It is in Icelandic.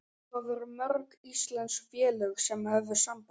Hvað voru mörg íslensk félög sem höfðu samband?